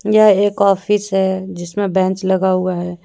यह एक ऑफिस है जिसमें बेंच लगा हुआ है।